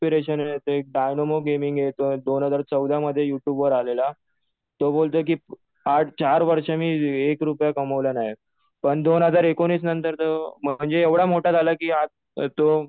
Inspiration येतं. एक Dynamo gaming दोन हजार चौदा मध्ये यु ट्युब वर आलेला. तो बोलतोय कि आज चार वर्ष मी एक रुपया कमवला नाही. पण दोन हजार एकोणीस नंतर तो म्हणजे एवढं मोठा झाला कि आज तो